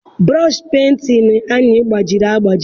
Burọshi penti anyị gbajiri agbaji.